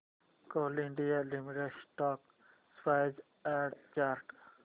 Coal India Limited stock price and chart